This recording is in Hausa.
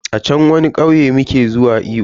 A chan wani kauye muke zuwa iyo.